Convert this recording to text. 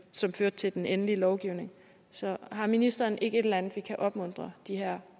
som førte til den endelige lovgivning så har ministeren ikke et eller andet vi kan opmuntre de her